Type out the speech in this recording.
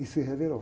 E se revelou.